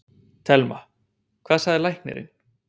Telma: Hvað sagði læknirinn?